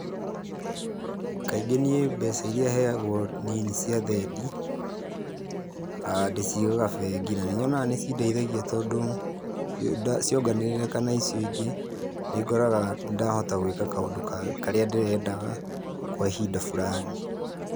Kaingĩ niĩ mbeca iria heagwo niĩ nĩ cia thendi. Ndicigaga bengi, na nĩ nyonaga nĩcindeithagia tondũ cionganĩrĩrĩka na icio ingĩ, nĩngoraga nĩndahota gwĩka kaũndũ karĩa ndĩrendaga kwa ihinda fulani.